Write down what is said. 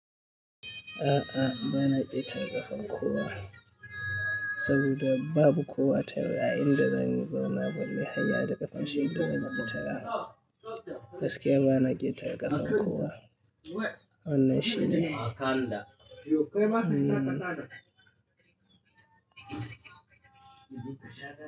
A'a, ba na ƙetara ƙafar kowa saboda babu kowa tare a inda zan zauna ban yi hayya da ƙafar shi da zan ƙetara. Gaskiya ba na ƙetara ƙafar kowa. Wannan shine.